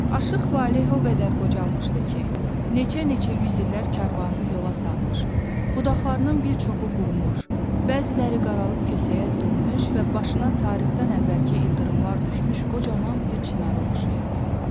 Aşıq Valeh o qədər qocalmışdı ki, neçə-neçə yüz illər karvanını yola salmış, budaqlarının bir çoxu qurumuş, bəziləri qarıb kösəyə dönmüş və başına tarixdən əvvəlki ildırımlar düşmüş qocaman bir çinara oxşayırdı.